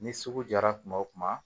Ni sugu jara kuma o kuma